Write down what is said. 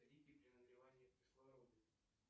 при нагревании кислорода